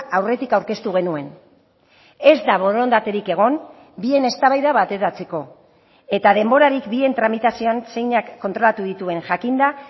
aurretik aurkeztu genuen ez da borondaterik egon bien eztabaida bateratzeko eta denborarik bien tramitazioan zeinak kontrolatu dituen jakinda